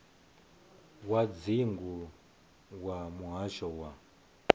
wa dzingu wa muhasho wa